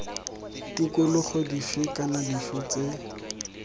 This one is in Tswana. tikologo dife kana dife tse